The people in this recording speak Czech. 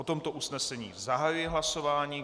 O tomto usnesení zahajuji hlasování.